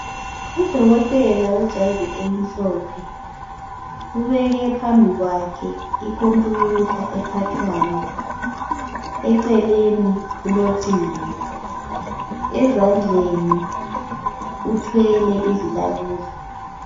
Udokotela wejazi elimhlophe ubekephambikwakhe ikhompiyutha ephathwayo, eceleni kulocingo, ezandleni uthwele izilaleli.